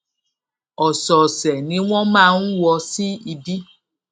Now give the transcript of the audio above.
òsòòsè ni wón máa ń wọ sí ibi